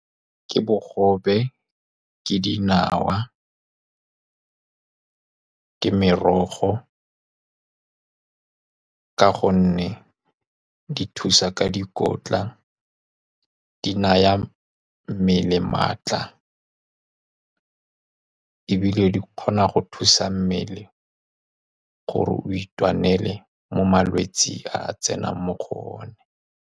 Ke bogobe, ke dinawa, ke merogo ka gonne di thusa ka dikotla. Di naya mmele maatla, ebile di kgona go thusa mmele gore o itwanele mo malwetseng a a tsenang mo go one.